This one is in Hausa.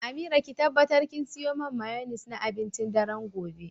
Amira ki tabbatar kin siyo man mayoinesse na abincin daren gobe.